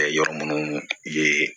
Ɛɛ yɔrɔ minnu ye